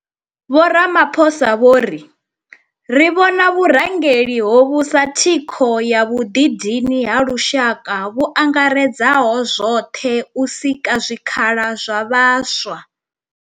Vho Ramaphosa vho ri ri vhona vhurangeli hovhu sa thikho ya vhuḓidini ha lushaka vhu angaredzaho zwoṱhe u sika zwikhala zwa vhaswa.